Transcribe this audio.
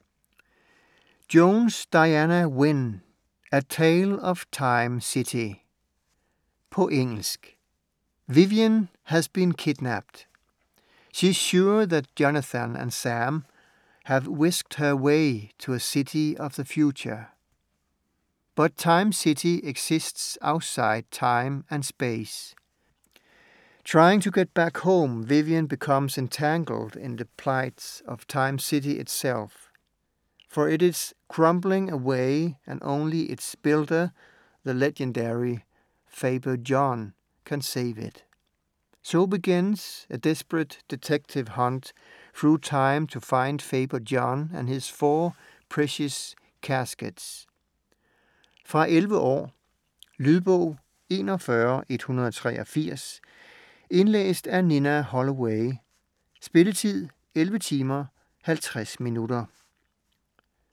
Jones, Diana Wynne: A tale of Time City På engelsk. Vivien has been kidnapped! She's sure that Jonathan and Sam have whisked her away to a city of the future. But Time City exists outside time and space. Trying to get back home, Vivian becomes entangled in the plight of Time City itself: for it is crumbling away and only its builder, the legendary Faber John, can save it. So begins a desperate detective hunt through time to find Faber John and his four precious caskets. Fra 11 år. Lydbog 41183 Indlæst af Nina Holloway Spilletid: 11 timer, 50 minutter.